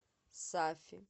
сафи